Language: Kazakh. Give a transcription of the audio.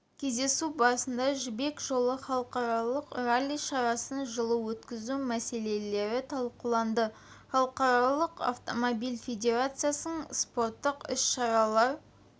кездесу барысында жібек жолы халықаралық ралли шарасын жылы өткізу мәселелері талқыланды халықаралық автомобиль федерациясының спорттық іс-шаралар